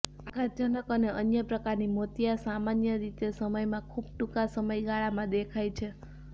આઘાતજનક અને અન્ય પ્રકારની મોતિયા સામાન્ય રીતે સમયના ખૂબ ટૂંકા સમયગાળામાં દેખાય છે